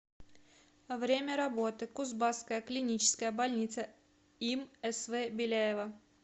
время работы кузбасская клиническая больница им св беляева